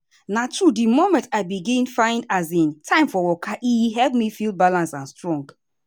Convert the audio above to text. na true the moment i begin find um time for waka e help me feel balance and strong.